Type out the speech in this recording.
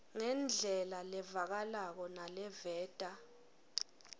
ngendlela levakalako naleveta